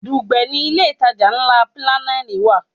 Dùgbẹ̀ ni ilé ìtajà ńlá Pinnacle wà.